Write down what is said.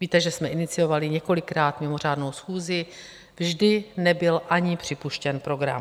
Víte, že jsme iniciovali několikrát mimořádnou schůzi, vždy nebyl ani připuštěn program.